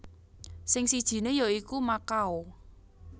Sing sijiné ya iku Makau